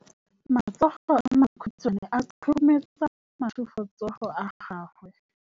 Matsogo a makhutshwane a khurumetsa masufutsogo a gago.